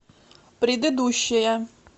предыдущая